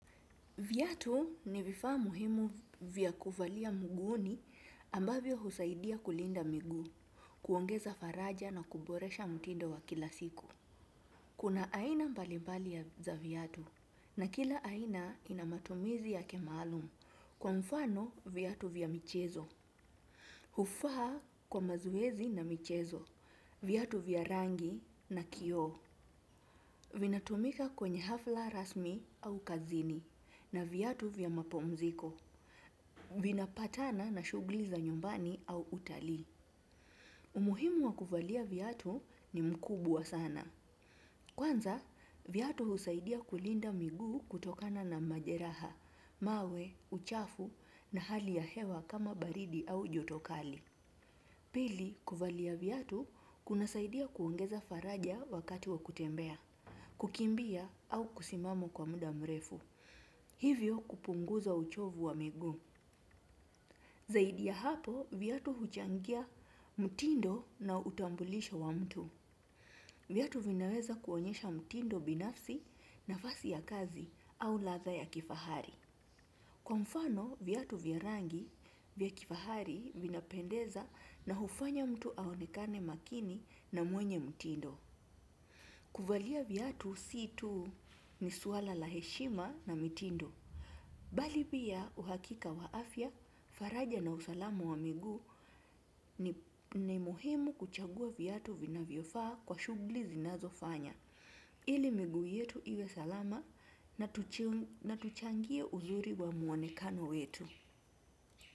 Viatu ni vifaa muhimu vya kuvalia mguuni ambavyo husaidia kulinda miguu, kuongeza faraja na kuboresha mtindo wa kila siku. Kuna aina mbalimbali ya za viatu na kila aina ina matumizi yake maalum kwa mfano viatu vya michezo. Hufaa kwa mazoezi na michezo, viatu vya rangi na kioo. Vinatumika kwenye hafla rasmi au kazini na viatu vya mapumziko. Vinapatana na shugli za nyumbani au utalii. Umuhimu wa kuvalia viatu ni mkubwa sana. Kwanza, viatu husaidia kulinda miguu kutokana na majeraha, mawe, uchafu na hali ya hewa kama baridi au jotokali. Pili, kuvalia viatu kunasaidia kuongeza faraja wakati wa kutembea. Kukimbia au kusimama kwa muda mrefu. Hivyo kupunguza uchovu wa miguu. Zaidi ya hapo, viatu huchangia mtindo na utambulisho wa mtu. Viatu vinaweza kuonyesha mtindo binafsi nafasi ya kazi au ladha ya kifahari. Kwa mfano, viatu vya rangi vya kifahari vinapendeza na hufanya mtu aonekane makini na mwenye mtindo. Kuvalia viatu si tu ni suala la heshima na mitindo bali pia uhakika wa afya faraja na usalama wa miguu ni muhimu kuchagua viatu vinavyofaa kwa shugli zinazofanya ili miguu yetu iwe salama na tuchangie uzuri wa mwonekano wetu.